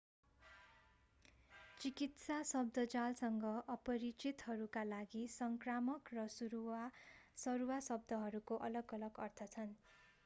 चिकित्सा शब्दजालसँग अपरिचितहरूका लागि संक्रामक र सरुवा शब्दहरूको अलग-अलग अर्थ छन्